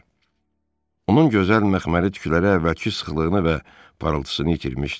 Onun gözəl məxməri tükləri əvvəlki sıxlığını və parıltısını itirmişdi.